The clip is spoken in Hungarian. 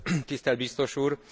Tisztelt Biztos Úr!